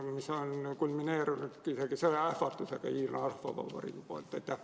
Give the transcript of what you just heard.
Need on nüüd kulmineerunud isegi Hiina Rahvavabariigi sõjaähvardusega.